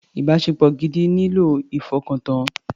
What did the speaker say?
Ìbáṣepọ̀ gidi nílò nílò ìfọkàntọ́.